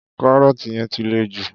Carrot yẹn ti le jù.